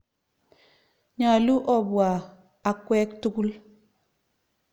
Nyalu opwa akwek tukul.